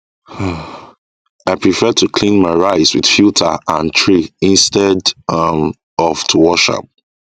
um i prefer to clean my rice with filter and tray instead um of to wash am